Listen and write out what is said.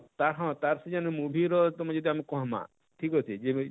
ତାର ହଁ ତାର ସେନ ଯେନ movie ର ତାକୁ ଯେତେ ଆମେ କହେମା ଠିକ ଅଛେ,